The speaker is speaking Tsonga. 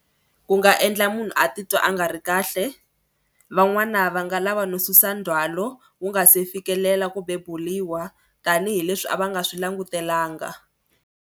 Ku nga endla munhu a titwa a nga ri kahle. Van'wana va nga lava no susa ndzhwalo wu nga si fikelela ku beburiwa tanihileswi a va nga swi langutelanga.